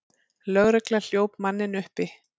Lögregla hljóp manninn uppi.